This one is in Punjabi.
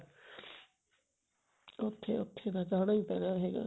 ਉੱਥੇ ਉੱਥੇ ਤਾਂ ਜਾਣਾ ਈ ਪੈਣਾ ਹੈਗਾ